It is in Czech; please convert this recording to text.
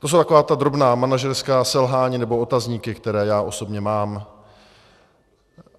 To jsou taková ta drobná manažerská selhání nebo otázníky, které já osobně mám.